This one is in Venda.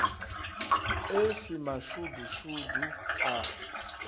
e si mashudu mashudu a